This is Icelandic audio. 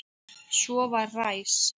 Svo var ræs.